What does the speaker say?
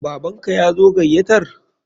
Baban ka yazo gayatar?